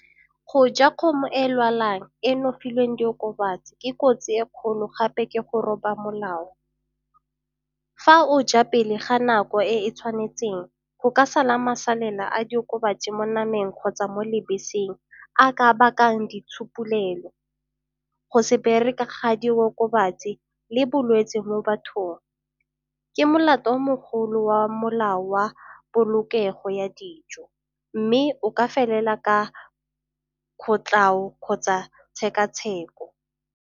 Go ja kgomo e lwalang e no e filweng diokobatsi ke kotsi e kgolo gape ke go roba molao. Fa o ja pele ga nako e e tshwanetseng go ka sala masalela a diokobatsi mo nameng kgotsa mo lebeseng a ka bakang ditshupolelo, go se bereke ga diokobatsi le bolwetsi mo bathong. Ke molato o mogolo wa molao wa polokego ya dijo mme o ka felela ka kgotlao kgotsa tshekatsheko.